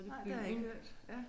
Nej det har jeg ikke hørt ja